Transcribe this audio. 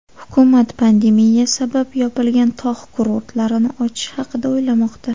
Hukumat pandemiya sabab yopilgan tog‘ kurortlarini ochish haqida o‘ylamoqda.